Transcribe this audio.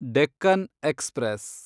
Deccan express